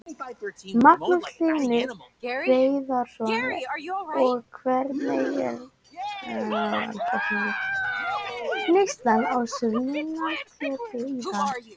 Magnús Hlynur Hreiðarsson: Og hvernig er neyslan á svínakjöti í dag?